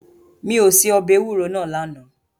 Mi ò se ọbẹ̀ ewúro náà lánàá.